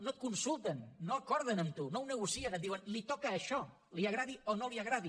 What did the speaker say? no et consulten no ho acorden amb tu no ho negocien et diuen li toca això li agradi o no li agradi